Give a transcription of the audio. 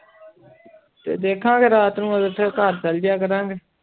ਤੇ ਦੇਖਾਂਗੇ ਰਾਤ ਨੂੰ ਫਿਰ ਉੱਥੇ ਘਰ ਚਲੇ ਜਾਇਆ ਕਰਾਂਗੇ।